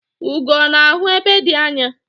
Ugo ọ̀ na-ahụ ebe dị anya?